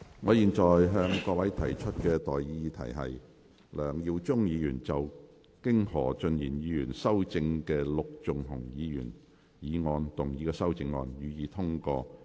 我現在向各位提出的待議議題是：梁耀忠議員就經何俊賢議員修正的陸頌雄議員議案動議的修正案，予以通過。